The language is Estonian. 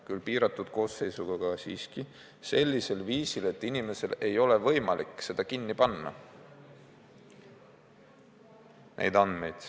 Küll piiratud koosseisuga, aga siiski, ja sellisel viisil, et inimesel ei ole võimalik oma andmeid kinni panna.